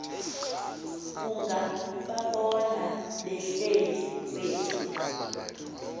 ungababona behleli kwezi